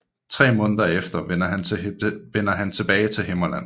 Tre måneder efter vender han tilbage til Himmerland